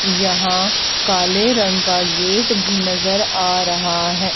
यहां काले रंग का गेट भी नजर आ रहा है।